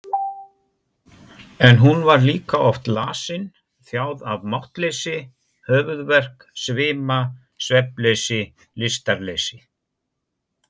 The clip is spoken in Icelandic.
En hún var líka oft lasin, þjáð af máttleysi, höfuðverk, svima, svefnleysi, lystarleysi.